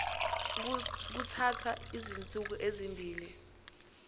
kuthatha izinsuku ezimbili